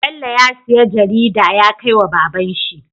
Bello ya siya jarida yakai wa baban shi